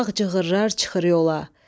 ağ cığırlar çıxır yola.